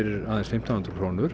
aðeins fimmtán hundruð krónur